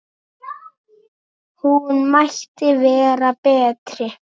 Hún mætti vera betri.